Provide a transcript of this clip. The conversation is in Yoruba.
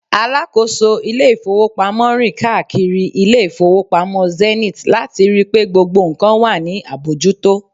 alákóso ilé ifowópamọ́ rin kaakiri ile ifowopamọ Zenith lati ri pe gbogbo nkan wa ni abojuto